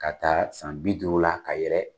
Ka ta san bi duuru la ka yɛlɛ.